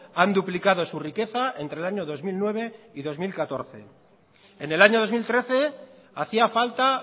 han duplicado su riqueza entre el año dos mil nueve y dos mil catorce en el año dos mil trece hacía falta